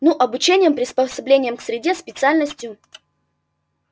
ну обучением приспособлением к среде специальностью